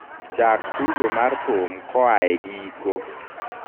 chak tugo mar thum koae giko